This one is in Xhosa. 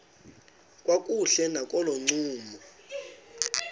kakuhle nakolo ncumo